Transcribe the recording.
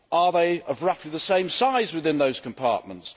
Are they of roughly the same size within those compartments?